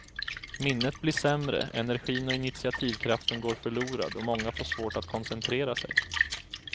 Minnet blir sämre, energin och initiativkraften går förlorad och många får svårt att koncentrera sig.